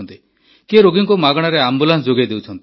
କିଏ ରୋଗୀଙ୍କୁ ମାଗଣାରେ ଆମ୍ବୁଲାନ୍ସ ଯୋଗାଇ ଦେଉଛି